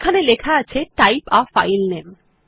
এখানে লেখা আছে টাইপ a ফাইল নামে